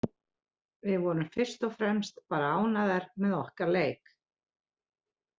Við vorum fyrst og fremst bara ánægðar með okkar leik.